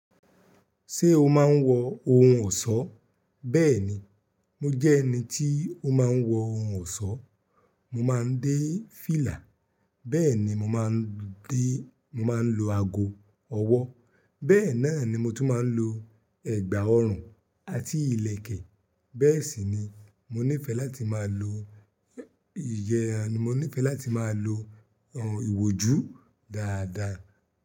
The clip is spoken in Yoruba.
Ṣé o máa ń wọ ohun ọ̀ṣọ́? Bẹ́ẹ̀ni, mo jẹ́ ẹni tí ó máa ń wọ ohun ọ̀ṣọ́. Mo máa ń dé fìlà, bẹ́ẹ̀ ni mo máa ń dé, mo máa ń lo ago ọwọ́, bẹ́ẹ̀ náà ni mo tún máa ń lo ẹ̀gbà ọrùn àti ìlẹ̀kẹ̀. Bẹ́ẹ̀ sì ni mo nífẹ̀ẹ́ láti máa lo ìyẹ́, mo nífẹ̀ẹ́ láti máa lo ohun ìwòjú dáadáa.